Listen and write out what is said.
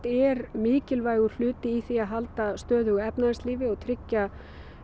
er mikilvægur hluti í því að halda stöðugu efnahagslífi og tryggja